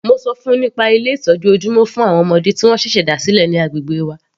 Mo ṣọ fún -un nípa Ilé ìtọ́jú ojúmọ́ fún àwọn ọmọdé tí wọ́n ṣẹ̀ṣẹ̀ dá sílẹ̀ ní agbègbè wa.